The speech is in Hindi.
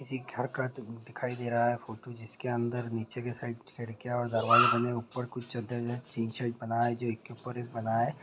किसी घर का दिखाई दे रहा है फोटो जिसके अंदर नीचे के साइड खिड़किया और दरवाजे बने है ऊपर कुछ चद्दर टिन शेड बना है जो एक के ऊपर एक बना है।